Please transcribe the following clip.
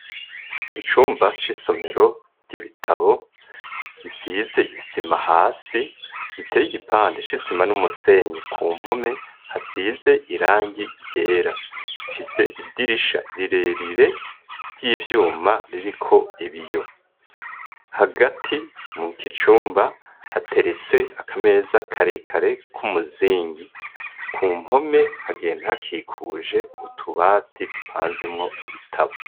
Icumba c'isomero ry'ibitabo isize isima hasi giteye igipande c'isima n'umusenyi ku mpome hasize irangi ryera, ifise idirisha rirerire ry'ivyuma ririko ibiyo hagati mu kicumba hateretse akameza karekare k'umuzingi, ku mpome hagenda hakikuje utubati dupanzemwo ibitabo.